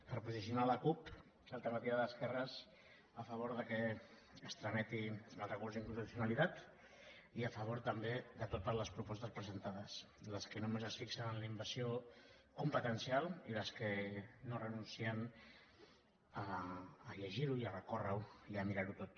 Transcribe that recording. per posicionar la cup alternativa d’esquerres a favor que es trameti el recurs d’inconstitucionalitat i a favor també de totes les propostes presentades les que només es fixen en la invasió competencial i les que no renuncien a llegir ho i a recórrer ho i a mirar ho tot